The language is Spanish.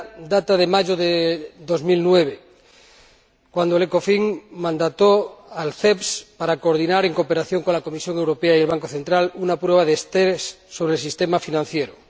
primeras datan de mayo de 2009, cuando el Ecofin mandató al CEBS para coordinar, en cooperación con la Comisión Europea y el Banco Central Europeo, pruebas de resistencia del sistema financiero.